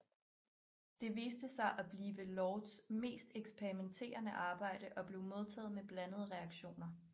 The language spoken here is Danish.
Det viste sig at blive Lords mest eksperimenterende arbejde og blev modtaget med blandede reaktioner